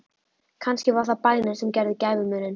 Kannski var það bænin sem gerði gæfumuninn.